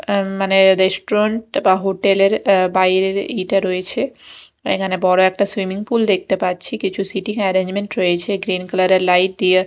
অ্যা মানে রেস্টুরেন্ট বা হোটেল -এর অ্যা বাইরের ইটা রয়েছে এখানে বড় একটা সুইমিংপুল দেখতে পাচ্ছি কিছু সিটিং অ্যারেনজমেন্ট রয়েছে গ্রিন কালার -এর লাইট দিয়ে--